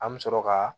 An bɛ sɔrɔ ka